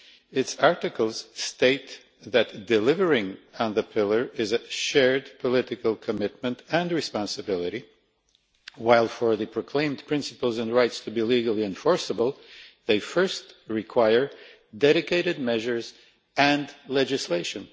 Its articles state that delivering on the Pillar is a shared political commitment and responsibility, while for the proclaimed principles and rights to be legally enforceable, they first require dedicated measures and legislation.